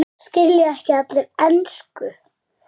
Skilja ekki allir ensku?